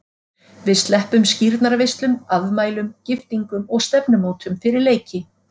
Við sleppum skírnarveislum, afmælum, giftingum og stefnumótum fyrir leiki.